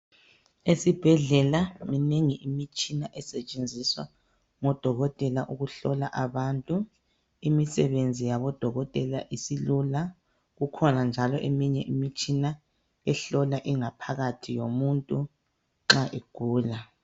Esibhedlela minengi imitshina esetshenziswa ngodokotela ukuhlola abantu, imisebenzi yabodokotela isilula kukhoba njalo eminye imitshina ehlola ingaphakathi yomuntu nxa egula.